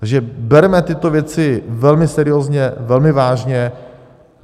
Takže berme tyto věci velmi seriózně, velmi vážně.